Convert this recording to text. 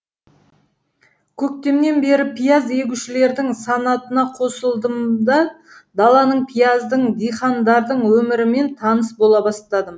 көктемнен бері пияз егушілердің санатына қосылдым да даланың пияздың дихандардың өмірімен таныс бола бастадым